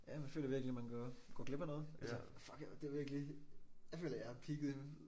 Jamen jeg føler virkelig man går går glip af noget altså fuck det virkelig jeg føler jeg har peaket